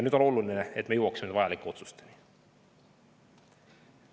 Nüüd on oluline, et me jõuaksime vajalike otsusteni.